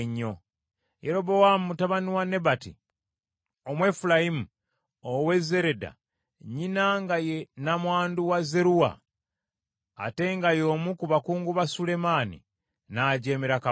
Yerobowaamu mutabani wa Nebati, Omwefulayimu ow’e Zereda, nnyina nga ye nnamwandu wa Zeruwa, ate nga y’omu ku bakungu ba Sulemaani, n’ajeemera kabaka.